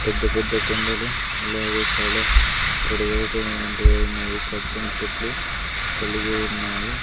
పెద్ద పెద్ద కొండలు అలాగే చాలా పొడవైటునవంటి ఎన్నో పచ్చని చెట్లు కలిగి ఉన్నాయి.